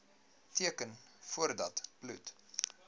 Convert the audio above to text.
teken voordat bloed